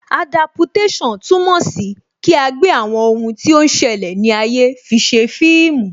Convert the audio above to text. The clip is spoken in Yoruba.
Adaptation túmọ̀ sí kí agbe àwọn ohun tí ó ń ṣẹlẹ̀ ní ayé fise fíìmù